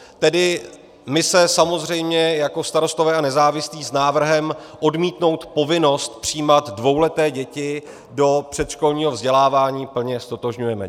Tedy my se samozřejmě jako Starostové a nezávislí s návrhem odmítnout povinnost přijímat dvouleté děti do předškolního vzdělávání plně ztotožňujeme.